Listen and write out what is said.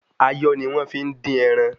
Ayọ́ ni wọ́n fi ń dín ẹran